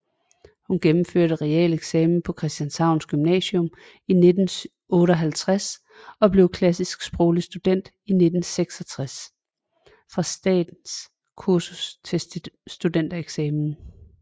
Hun gennemførte realeksamen på Christianshavns Gymnasium i 1958 og blev klassisk sproglig student i 1966 fra Statens Kursus til Studentereksamen